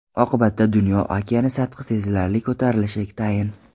Oqibatda dunyo okeani sathi sezilarli ko‘tarilishi tayin.